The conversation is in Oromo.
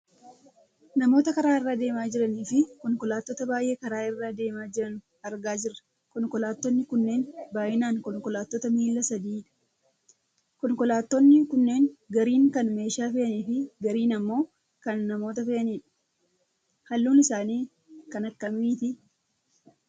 Namoota karaa irra deemaa jiraniifi konkolaattota baayyee karaa irra deemaa jiran argaa jirra konkolaattonni kunneen baayyinaan konkolaattota miila sadiidha. Konkolaattonni kunneen gariin kan meeshaa fe'aniifi gariin ammoo kan namoota fe'anidha. Halluun isaanii kan akkamiiti?